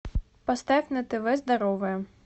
поставь на тв здоровая